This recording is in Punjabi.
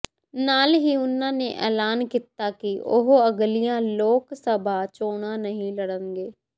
ਨਾਲ ਹੀ ਉਨ੍ਹਾਂ ਨੇ ਐਲਾਨ ਕੀਤਾ ਕਿ ਉਹ ਅਗਲੀਆਂ ਲੋਕ ਸਭਾ ਚੋਣਾਂ ਨਹੀਂ ਲੜਨਗੇ